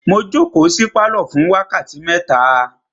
Mo jókòó sí pálọ̀ fún wákàtí mẹ́ta.